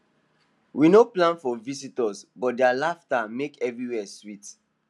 we no plan for visitors but their laughter make everywhere sweet